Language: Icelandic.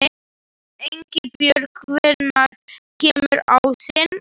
Einbjörg, hvenær kemur ásinn?